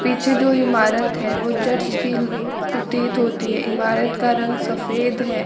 पीछे जो इमारत है वो चर्च की ल प्रतीत होती है इमारत का रंग सफेद है।